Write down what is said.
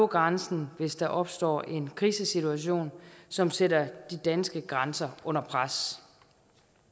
grænsen hvis der opstår en krisesituation som sætter de danske grænser under pres